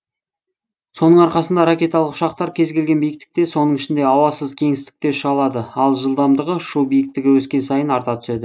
соның арқасында ракеталық ұшақтар кез келген биіктікте соның ішінде ауасыз кеңістікте ұша алады ал жылдамдығы ұшу биіктігі өскен сайын арта түседі